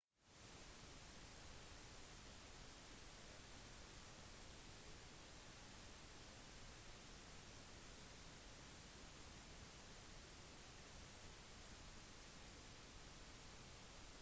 det er flere grunner til at de er overlegne på nett-proxyer de omkjører all internettrafikk ikke bare http